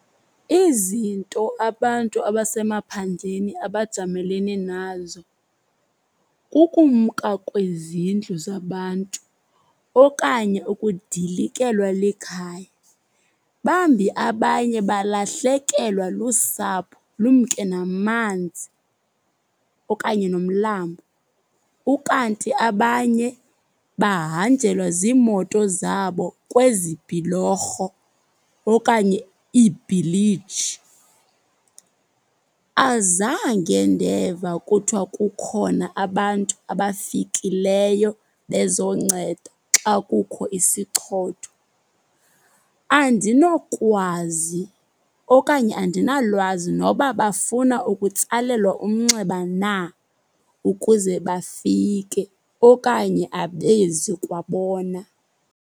Izinto abantu abasemaphandleni abajamelene nazo kukumka kwezindlu zabantu okanye ukudilikelwa likhaya. Bambi abanye balahlekelwa lusapho, lumke namanzi okanye nomlambo. Ukanti abanye bahanjelwe ziimoto zabo kwezi bhulorho okanye iibhiliji. Azange ndeva kuthwa kukhona abantu abafikeleyo bezonceda xa kukho isichotho. Andinokwazi okanye andinalwazi noba bafuna ukutsalelwa umnxeba na ukuze bafike okanye abezi kwabona.